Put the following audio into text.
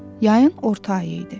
Yayın orta ayı idi.